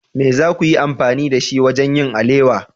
Me za ku yi amfani da shi wajen yin alewa?